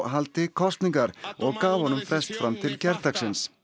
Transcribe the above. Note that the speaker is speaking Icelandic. haldi kosningar og gaf honum frest fram til gærdagsins